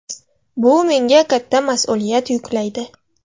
Bu menga katta mas’uliyat yuklaydi”.